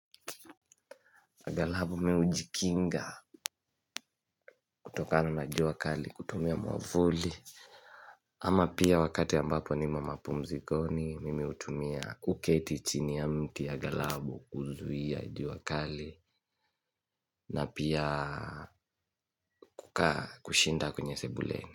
Angalau mimi hujikinga kutokana na jua kali kutumia mwamvuli. Ama pia wakati ambapo nimo mapumzikoni mimi hutumia kuketi chini ya mti angalau kuzuia jua kali. Na pia kukaa kushinda kwenye sebule.